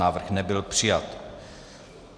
Návrh nebyl přijat.